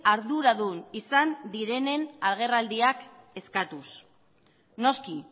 arduradun izan direnen agerraldiak eskatuz noski